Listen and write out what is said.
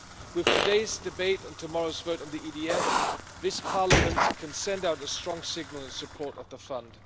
With today's debate and tomorrow's vote on the EDF, this Parliament can send out a strong signal in support of the Fund.